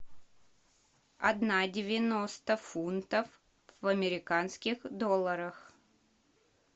одна девяносто фунтов в американских долларах